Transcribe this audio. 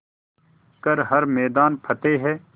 कर हर मैदान फ़तेह